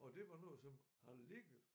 Og det var noget som har ligget